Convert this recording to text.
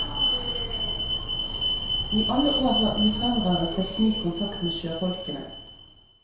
I alle år har utvandrere søkt ny kontakt med sjøfolkene.